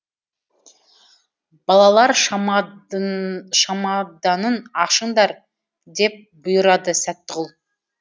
балалар шамаданын ашыңдар деп бұйырады сәттіғұл